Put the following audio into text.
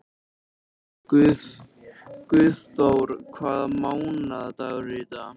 Guðþór, hvaða mánaðardagur er í dag?